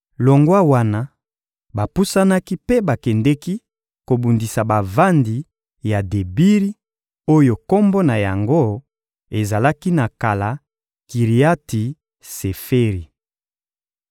Longwa wana, bapusanaki mpe bakendeki kobundisa bavandi ya Debiri oyo kombo na yango ezalaki na kala «Kiriati-Seferi.»